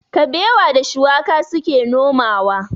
Kabewa da shuwaka su ke nomawa.